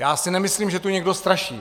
Já si nemyslím, že tu někdo straší.